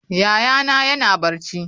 Yayana yana barci.